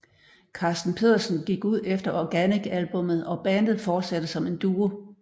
Carsten Pedersen gik ud efter Organic albummet og bandet fortsatte som en duo